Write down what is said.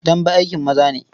Dambe aikin maza ne.